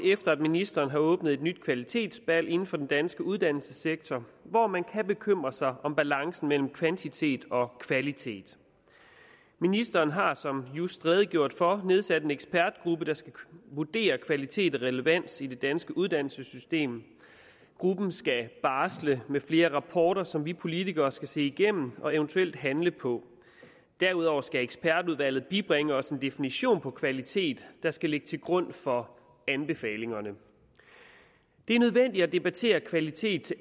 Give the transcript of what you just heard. ministeren har åbnet et nyt kvalitetsbal inden for den danske uddannelsessektor hvor man kan bekymre sig om balancen mellem kvantitet og kvalitet ministeren har som just redegjort for nedsat en ekspertgruppe der skal vurdere kvalitet og relevans i det danske uddannelsessystem gruppen skal barsle med flere rapporter som vi politikere skal se igennem og eventuelt handle på derudover skal ekspertudvalget bibringe os en definition på kvalitet der skal ligge til grund for anbefalingerne det er nødvendigt at debattere kvalitet